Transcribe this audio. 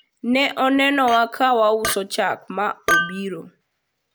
ne onenowa ka wauso chak ma obiro